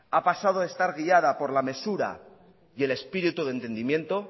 ha pasado de estar guiada por la mesura y el espíritu de entendimiento